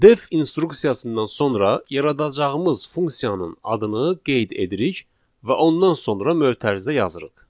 Def instruksiyasından sonra yaradacağımız funksiyanın adını qeyd edirik və ondan sonra mötərizə yazırıq.